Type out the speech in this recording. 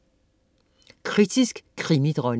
Kritisk krimidronning